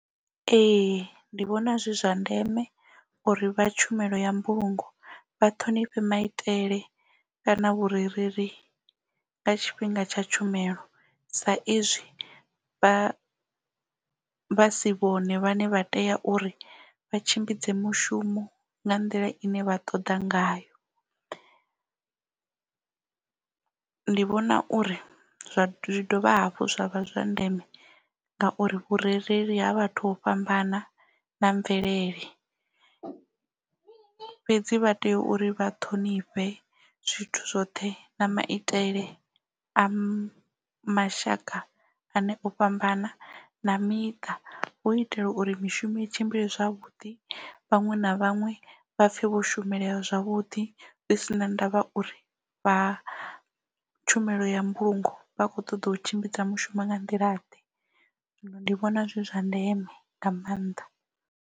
Ee ndi vhona zwi zwa ndeme uri vha tshumelo ya mbulungo vha ṱhonifhe maitele kana vhurereli nga tshifhinga tsha tshumelo. Sa izwi vha vha si vhone vhane vha tea uri vha tshimbidze mushumo nga nḓila ine vha ṱoḓa ngayo. Ndi vhona uri zwi dovha hafhu zwa vha zwa ndeme ngauri vhurereli ha vhathu ho fhambana na mvelele fhedzi vha tea uri vha ṱhonifhe zwithu zwoṱhe na maitele a mashaka ane o fhambana na miṱa u itela uri mishumo i tshimbile zwavhuḓi vhaṅwe na vhaṅwe vha pfhe vho shumelea zwavhuḓi zwi si na ndavha uri vha tshumelo ya mbulungo vha kho ṱoḓa u tshimbidza mushumo nga nḓila ḓe zwino ndi vhona zwi zwa ndeme nga maanḓa.